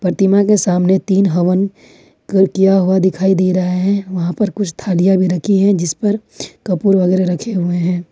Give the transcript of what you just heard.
प्रतिमा के सामने तीन हवन कर किया हुआ दिखाई दे रहा है वहां पर कुछ थालिया भी रखी है जिस पर कपूर वगैरा रखे हुए हैं।